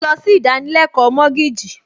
Mo lọ sí ìdánilẹ́kọ̀ọ́ mọ́gíìjì